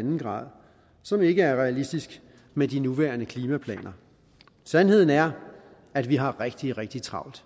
en grader som ikke er realistisk med de nuværende klimaplaner sandheden er at vi har rigtig rigtig travlt